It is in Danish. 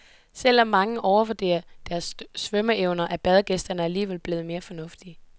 Selv om mange overvurderer deres svømmeevner, er badegæsterne alligevel blevet mere fornuftige.